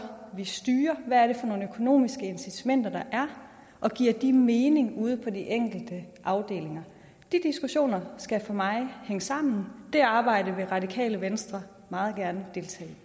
vi styrer hvad det er for nogle økonomiske incitamenter der er og giver de mening ude på de enkelte afdelinger de diskussioner skal for mig hænge sammen det arbejde vil radikale venstre meget gerne deltage